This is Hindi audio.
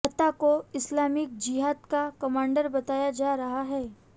अता को इस्लामिक जिहाद का कमांडर बताया जा रहा है